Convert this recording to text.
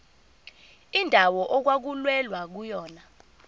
indawo okwakulwelwa kuyona